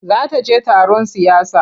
Za ta je taron siyasa.